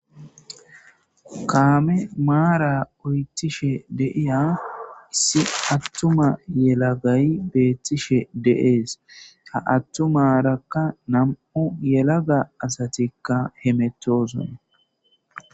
Kaame maara uytishe deiya issi attuma yelagay beettishe deees ha attumaarakka nam 'u yelaga asatikka hemettosone.